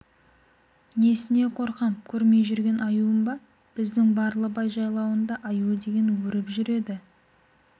несіне қорқам көрмей жүрген аюым ба біздің барлыбай жайлауында аю деген өріп жүреді